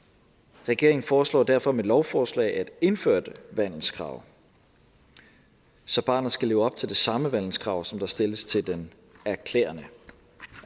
regeringen foreslår derfor med lovforslaget at indføre et vandelskrav så barnet skal leve op til det samme vandelskrav som der stilles til den erklærende